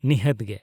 -ᱱᱤᱦᱟᱹᱛ ᱜᱮ !